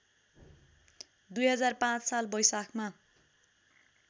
२००५ साल वैशाखमा